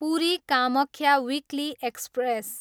Puri, Kamakhya weekly express